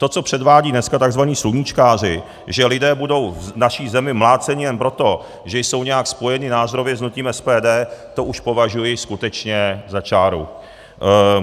To, co předvádí dneska tzv. sluníčkáři, že lidé budou v naší zemi mláceni jen proto, že jsou nějak spojeni názorově s hnutím SPD, to už považuji skutečně za čáru.